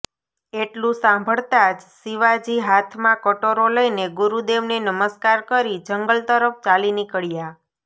એટલું સાંભળતાં જ શિવાજી હાથમાં કટોરો લઈને ગુરુદેવને નમસ્કાર કરી જંગલ તરફ ચાલી નીકળ્યા